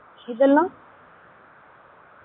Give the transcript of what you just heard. எதெல்லாம்